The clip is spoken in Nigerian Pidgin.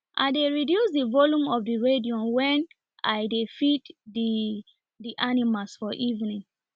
i dey reduce the volume of the radion wen i dey feed the the animals for evening